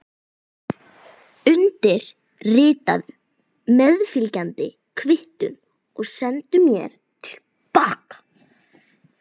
Undirritaðu meðfylgjandi kvittun og sendu mér til baka.